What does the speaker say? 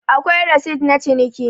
akwai resit na ciniki